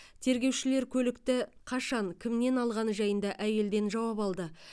тергеушілер көлікті қашан кімнен алғаны жайында әйелден жауап алды